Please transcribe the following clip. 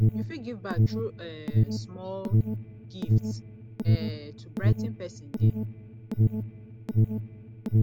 yu fit give back thru um small gifts um to brigh ten pesin day